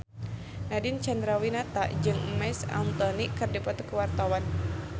Nadine Chandrawinata jeung Marc Anthony keur dipoto ku wartawan